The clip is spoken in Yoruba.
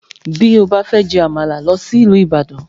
Bí ó bá fẹ́ jẹ Àmàlà, lọ sí ìlú Ibadan